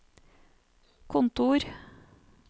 kontor